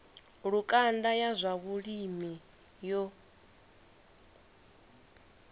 lukanda ya zwa vhulimi yo